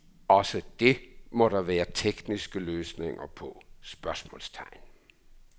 Også det må der være tekniske løsninger på? spørgsmålstegn